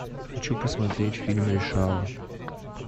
хочу посмотреть фильм решала